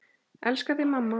Elska þig, mamma.